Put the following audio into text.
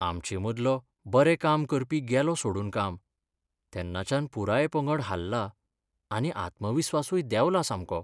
आमचें मदलो बरें काम करपी गेलो सोडून काम. तेन्नाच्यान पुराय पंगड हाल्ला आनी आत्मविस्वासूय देंवला सामको.